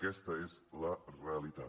aquesta és la realitat